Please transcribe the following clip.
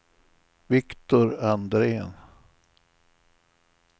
Viktor Andrén